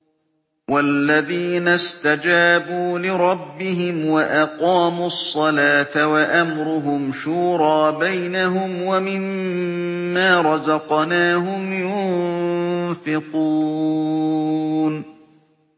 وَالَّذِينَ اسْتَجَابُوا لِرَبِّهِمْ وَأَقَامُوا الصَّلَاةَ وَأَمْرُهُمْ شُورَىٰ بَيْنَهُمْ وَمِمَّا رَزَقْنَاهُمْ يُنفِقُونَ